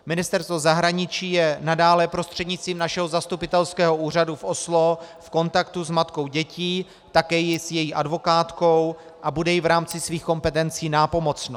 Ministerstvo zahraničí je nadále prostřednictvím našeho zastupitelského úřadu v Oslo v kontaktu s matkou dětí, také s její advokátkou a bude jí v rámci svých kompetencí nápomocno.